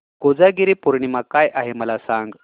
कोजागिरी पौर्णिमा काय आहे मला सांग